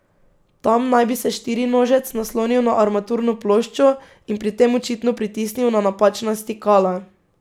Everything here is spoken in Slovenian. Tam naj bi se štirinožec naslonil na armaturno ploščo in pri tem očitno pritisnil na napačna stikala.